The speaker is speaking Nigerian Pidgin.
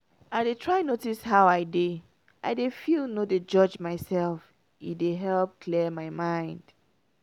i dey try notice how i dey i dey feel no dey judge myself — e dey help clear my head.